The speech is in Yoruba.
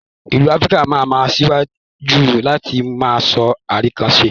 South Áfíríkà ma ma tẹ̀síwájú láti má sọ Arikannas